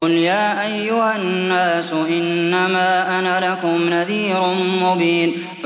قُلْ يَا أَيُّهَا النَّاسُ إِنَّمَا أَنَا لَكُمْ نَذِيرٌ مُّبِينٌ